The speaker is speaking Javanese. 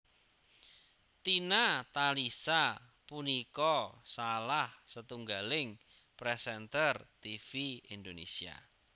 Tina Talisa punika salah setunggaling présènter tivi Indonésia